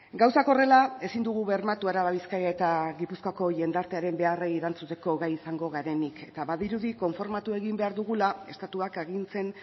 gauzak horrela ezin dugu bermatu araba bizkaia eta gipuzkoako jendartearen beharrei erantzuteko gai izango garenik eta badirudi konformatu egin behar dugula estatuak agintzen